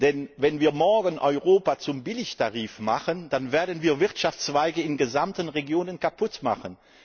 Denn wenn wir morgen Europa zum Billigtarif machen, dann werden wir Wirtschaftszweige in ganzen Regionen kaputtmachen.